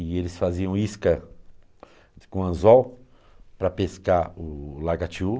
E eles faziam isca com anzol para pescar o lagatiú.